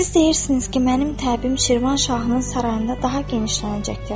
Siz deyirsiniz ki, mənim təbim Şirvanşahın sarayında daha genişlənəcəkdir.